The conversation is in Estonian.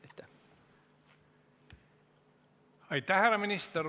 Aitäh, härra minister!